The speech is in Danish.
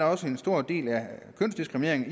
også en stor del af kønsdiskriminering